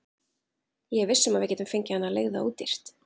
Ég er viss um að við getum fengið hana leigða ódýrt.